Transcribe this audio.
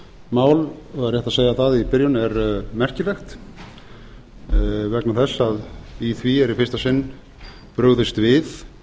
mál það er rétt að segja það í byrjun er merkilegt vegna þess að í því er í fyrsta sinn brugðist við